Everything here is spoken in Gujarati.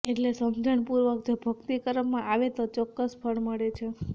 એટલે સમજણ પૂર્વક જો ભક્તિ કરવામાં આવે તો ચોક્કસ ફળ મળે છે